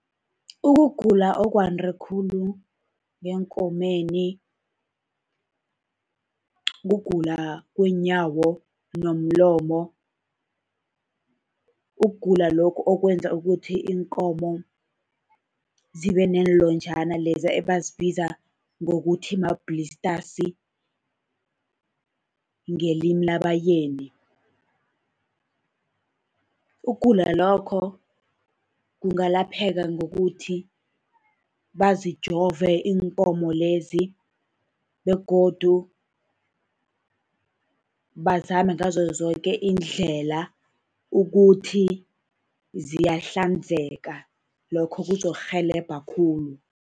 Ukugula okwande khulu ngeenkomeni, kugula kweenyawo unomlomo. Ukugula lokhu okwenza ukuthi iinkomo zibe neenlonjana leza ebazibiza ngokuthi ma-blisters ngelimi labaYeni. Ukugula lokho kungalapheka ngokuthi bazijove iinkomo lezi, begodu bazame ngazo zoke iindlela ukuthi ziyahlanzeka. Lokho kuzokurhelebha khulu.